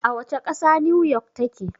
A wane ƙasa 'New York' ta ke?